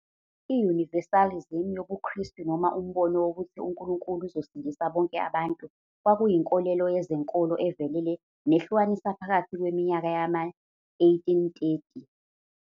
I-universalism yobuKristu, noma umbono wokuthi uNkulunkulu uzosindisa bonke abantu, kwakuyinkolelo yezenkolo evelele nehlukanisa phakathi kweminyaka yama-1830.